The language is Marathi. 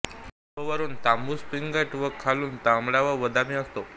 तो वरून तांबूस पिंगट व खालून तांबडा व बदामी असतो